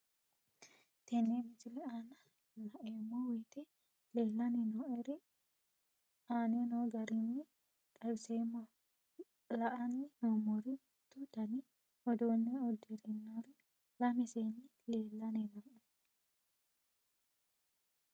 Tenne misile aana laeemmo woyte leelanni noo'ere aane noo garinni xawiseemmo. La'anni noomorri mittu dani uduune uddirinori lame seeni leelanni nooe